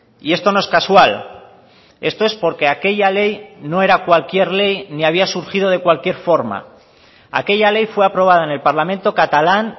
y esto no es casual esto es porque aquella ley no era cualquier ley ni había surgido de cualquier forma aquella ley fue aprobada en el parlamento catalán